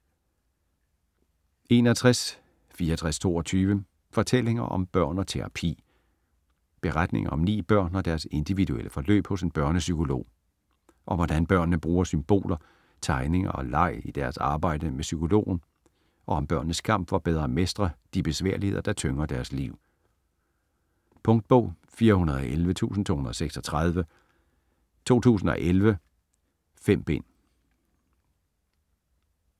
61.6422 Fortællinger om børn og terapi Beretninger om ni børn og deres individuelle forløb hos en børnepsykolog. Om hvordan børnene bruger symboler, tegninger og leg i deres arbejde med psykologen og om børnenes kamp for bedre at mestre de besværligheder, der tynger deres liv. Punktbog 411236 2011. 5 bind.